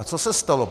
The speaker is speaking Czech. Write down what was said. A co se stalo?